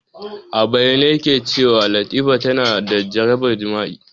A bayyane yake cewa Latifa tana da jarabar jima'i.